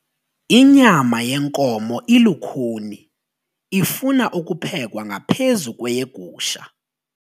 Inyama yenkomo ilukhuni ifuna ukuphekwa ngaphezu kweyegusha.